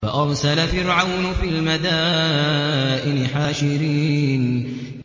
فَأَرْسَلَ فِرْعَوْنُ فِي الْمَدَائِنِ حَاشِرِينَ